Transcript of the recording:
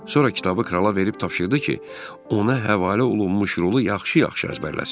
Sonra kitabı krala verib tapşırdı ki, ona həvalə olunmuş rolu yaxşı-yaxşı əzbərləsin.